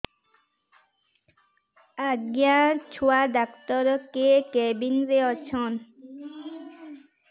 ଆଜ୍ଞା ଛୁଆ ଡାକ୍ତର କେ କେବିନ୍ ରେ ଅଛନ୍